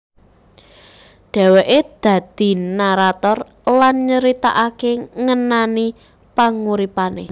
Dheweke dadi narator lan nyritakake ngenani panguripane